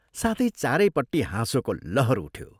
साथै चारैपट्टि हाँसोको लहर उठ्यो।